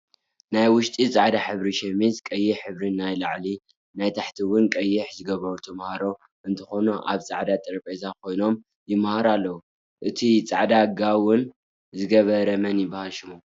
ናይ ውሽጢ ፃዕዳ ሕብሪ ሸሚዝን ቀይሕ ሕብሪ ናይ ላዕሊን ናይ ታሕቲ እውን ቀይሕ ዝገበሩ ተማህሮ እንትኮኑ ኣብ ፃዕዳ ጠረጵዛ ኮይኖም ይምሃሩ ኣለው። እቱይ ፃዕዳ ጋውን ዝገበረ መን ይብሃል ሽሙ?